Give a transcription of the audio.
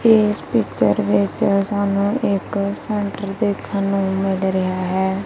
ਇਸ ਪੀਚਰ ਵਿੱਚ ਸਾਨੂੰ ਇੱਕ ਸੈਂਟਰ ਦੇਖਣ ਨੂੰ ਮਿਲ ਰਿਹਾ ਹੈ।